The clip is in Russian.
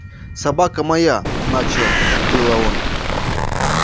собака моя начал было он